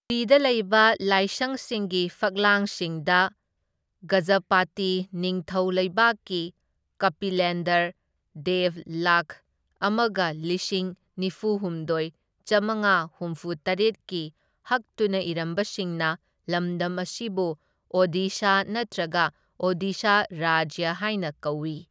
ꯄꯨꯔꯤꯗ ꯂꯩꯕ ꯂꯥꯏꯁꯪꯁꯤꯡꯒꯤ ꯐꯛꯂꯥꯡꯁꯤꯡꯗ ꯒꯖꯥꯄꯇꯤ ꯅꯤꯡꯊꯧ ꯂꯩꯕꯥꯛꯀꯤ ꯀꯄꯤꯂꯦꯟꯗ꯭ꯔ ꯗꯦꯕ ꯂꯥꯛꯈ ꯑꯃꯒ ꯂꯤꯁꯤꯡ ꯅꯤꯐꯨꯍꯨꯝꯗꯣꯢ ꯆꯥꯝꯃꯉꯥ ꯍꯨꯝꯐꯨꯇꯔꯦꯠꯀꯤ ꯍꯛꯇꯨꯅ ꯏꯔꯝꯕꯁꯤꯡꯅ ꯂꯝꯗꯝ ꯑꯁꯤꯕꯨ ꯑꯣꯗꯤꯁꯥ ꯅꯠꯇ꯭ꯔꯒ ꯑꯣꯗꯤꯁꯥ ꯔꯥꯖ꯭ꯌ ꯍꯥꯏꯅ ꯀꯧꯏ꯫